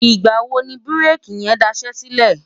ìgbà̀ wo ni búréèkì yẹn daṣẹ́ sílẹ̀?